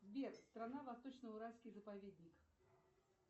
сбер страна восточно уральский заповедник